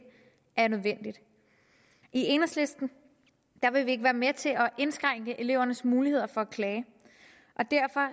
er nødvendigt i enhedslisten vil vi ikke være med til at indskrænke elevernes muligheder for at klage og derfor